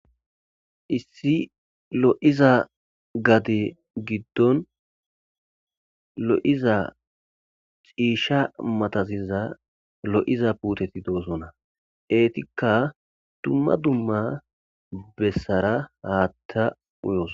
issi lo7iza gade giddon lo7iza ciisha mataziza lo7iza puuteti doosona eetikka dumma dumma bessara haatta uyos